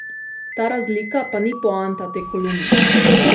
Ta razlika pa ni poanta te kolumne.